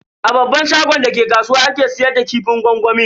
A babban shagon da ke kasuwa ake siyar da kifin gwangwamin.